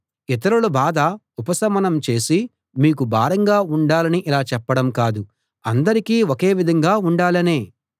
ఇతరుల బాధ ఉపశమనం చేసి మీకు భారంగా ఉండాలని ఇలా చెప్పడం కాదు అందరికీ ఒకే విధంగా ఉండాలనే